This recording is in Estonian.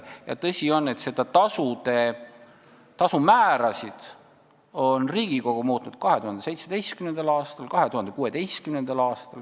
Tõsi on, et tasumäärasid on Riigikogu muutnud 2016. aastal ja 2017. aastal.